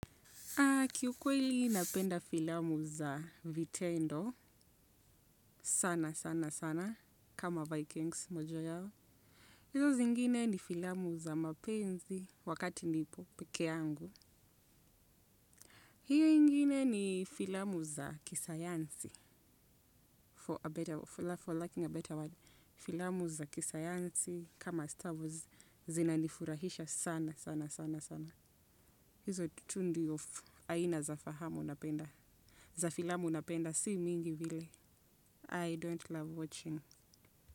Kiukweli napenda filamu za vitendo sana sana sana kama Vikings mojayao. Hizo zingine ni filamu za mapenzi wakati nipo peke yangu. Hiyo ingine ni filamu za kisayansi for a better, for lacking a better word. Filamu za kisayansi kama star wars zinanifurahisha sana sana sana sana. Hizo tu ndio aina za fahamu napenda. Za filamu napenda si mingi vile, I don't love watching.